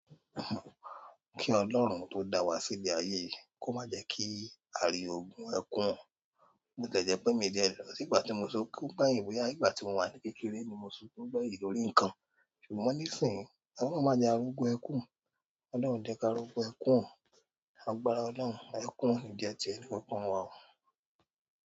Kí Ọlọ́run tó da wa sí ilẹ̀ ayé yìí, kó má jẹ kí a rí ogun ẹkún. Bó tiẹ̀ jẹ pé mi jẹ lọ̀. Ní ìgbà tí mo sunkún gbẹ̀yìn bóyá, nígbà tí mo wà ní kékeré ni mo sunkún gbẹ̀yìn lórí nǹkan. Ṣùgbọ́n níìsín, Ọlọ́run má jẹ a rógun ẹkún. Ọlọ́run ò ní jẹ́ ká rògun ẹkún o. Lágbára Ọlọ́run, ẹkún ò ní jẹ́ tì ẹnìkọ̀ọ̀kan wa o.